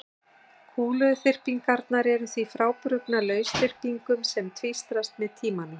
Kúluþyrpingarnar eru því frábrugðnar lausþyrpingum sem tvístrast með tímanum.